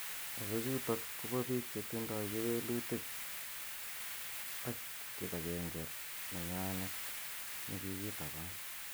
Ako chutok ko ba pik che tindoi kewelutik and kipankenge nenywanet nekikitaban.